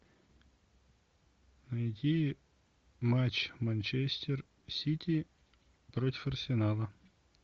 найти матч манчестер сити против арсенала